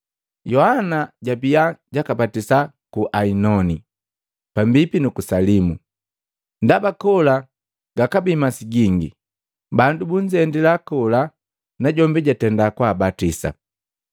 Yohana jabiya jakabatisa ku Ainoni, pambipi nuku Salimu, ndaba kola gakabii masi gingi. Bandu bunzendila najombi nakabatisa.